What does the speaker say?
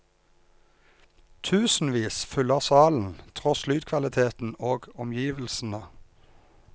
Tusenvis fyller salen, tross lydkvaliteten og omgivelsene.